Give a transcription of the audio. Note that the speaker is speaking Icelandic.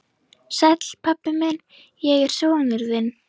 Sæll, pabbi minn, ég er sonur þinn.